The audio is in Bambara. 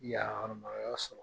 Yan yɔrɔ min na o y'a sɔrɔ